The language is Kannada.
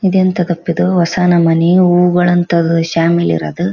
ಇದೆಂತದಪ್ಪ ಇದು ಹೊಸ ನ ಮನಿ ಹೋಗಣ ಅಂತ ಅದು ಶಾಮಿಲ್ ಇರದು.